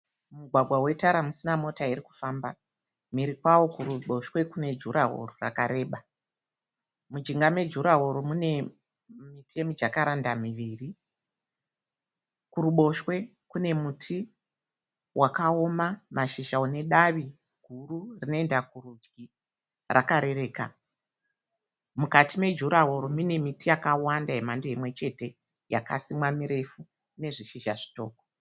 Mumugwagwa wetara musina mota irikufamba. Mberi kwaro kuruboshwe kune jurahoro rakareba. Mujinga mejurahoro mune miti yemijakaranda miviri. Kuruboshwe kune muti wakaoma mashizha une davi guru rinoenda kurudyi rakarereka. Mukati mejurahoro mune miti yakawanda yemhando imwechete yakasimwa mirefu ine zvishizha zvidoko.